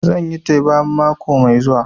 Zan yi teba mako mai zuwa